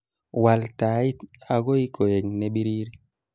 wal tait agoi koe ne berie